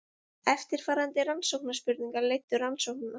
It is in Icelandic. Eftirfarandi rannsóknarspurningar leiddu rannsóknina.